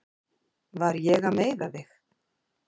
Var ég að meiða þig?